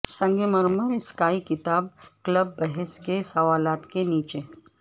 سنگ مرمر اسکائی کتاب کلب بحث کے سوالات کے نیچے